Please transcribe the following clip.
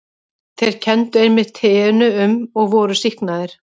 Þeir kenndu einmitt teinu um og voru sýknaðir.